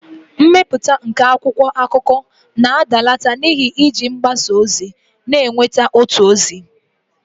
mmepụta nke akwụkwọ akụkọ na-adalata n'ihi iji mgbasa ozi na-enweta otu ozi